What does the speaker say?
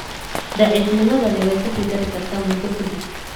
Daciifnimadani way ka sii dari kartaa muddo ka dib.